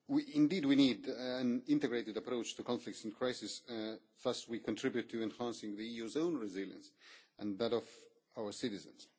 Indeed, we need an integrated approach to conflicts and crises, for thus we contribute to enhancing the EU's own resilience and that of our citizens.